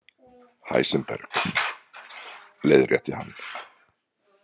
Heisenberg, leiðrétti hann. „